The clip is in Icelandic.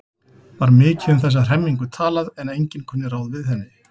Var mikið um þessa hremmingu talað en enginn kunni ráð við henni.